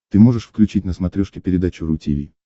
ты можешь включить на смотрешке передачу ру ти ви